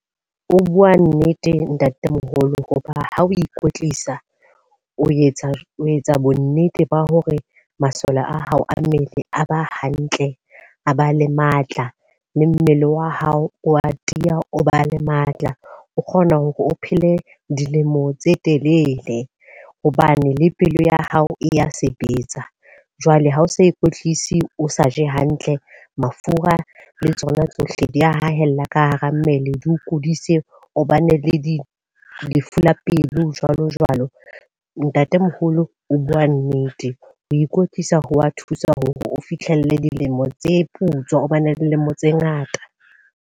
O bua nnete ntatemoholo, hoba ha o ikwetlisa, o etsa o etsa bo nnete ba hore masole a hao a mmele a ba hantle, a ba le matla, le mmele wa hao o a tiya, o ba le matla. O kgona hore o phele dilemo tse telele, hobane le pelo ya hao e ya sebetsa. Jwale ha o sa ikwetlisi o sa je hantle, mafura le tsona tsohle di ya hahella ka hara mmele di o kudise. O ba ne le lefu la pelo jwalo jwalo. Ntatemoholo o bua nnete. Ho ikwetlisa ho wa thusa hore o fihlelle dilemo tse putswa, o ba ne le dilemo tse ngata.